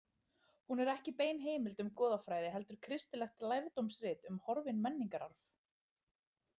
Hún er ekki bein heimild um goðafræði heldur kristilegt lærdómsrit um horfinn menningararf.